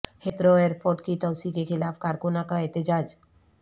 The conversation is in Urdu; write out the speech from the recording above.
ہیتھرو ایرپورٹ کی توسیع کے خلاف کارکنوں کا احتجاج